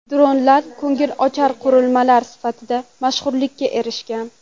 Dronlar ko‘ngilochar qurilmalar sifatida mashhurlikka erishgan.